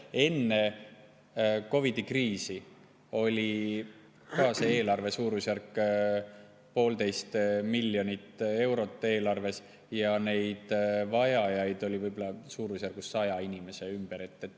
Enne COVID‑i kriisi oli see suurusjärk poolteist miljonit eurot eelarves ja neid vajajaid oli 100 inimese ümber.